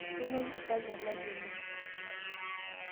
Kemuai lpayian lai oleng